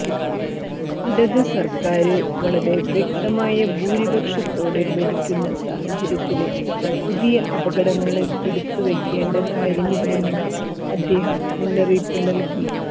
ഇടതു സര്ക്കാര് വളരെ വ്യക്തമായ ഭൂരിപക്ഷത്തോടെ ഭരിക്കുന്ന സാഹചര്യത്തില് പുതിയ അപകടങ്ങള് എടുത്തു വയ്ക്കേണ്ട കാര്യമില്ലെന്നും അദ്ദേഹം മുന്നറിയിപ്പ് നല്കി